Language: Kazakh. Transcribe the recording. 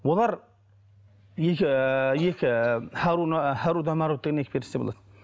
олар екі екі харуда марут деген екі періште болады